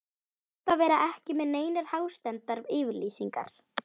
Best að vera ekki með neinar hástemmdar yfirlýsingar.